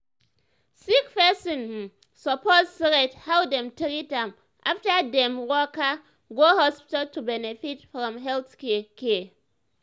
sick person um suppose rate how dem treat am after dem um waka um go hospital to benefit from health care. care.